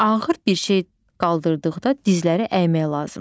Ağır bir şey qaldırdıqda dizləri əymək lazımdır.